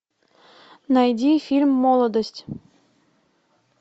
найди фильм молодость